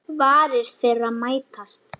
Varir þeirra mætast.